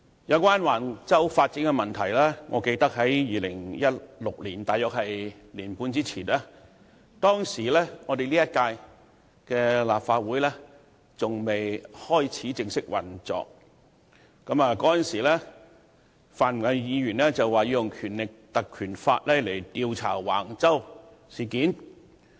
有關橫洲發展的問題，我記得在2016年，即大約年半前，在本屆立法會尚未正式開始運作之際，已有泛民議員表示要引用《立法會條例》調查橫洲事件。